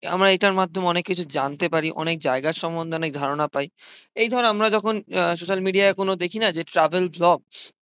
আমরা এটার মাধ্যমে অনেক কিছু জানতে পারি, অনেক জায়গার সম্বন্ধে অনেক ধারণা পাই। এই ধর আমরা যখন আহ social media য় কোন দেখিনা যে travel jobs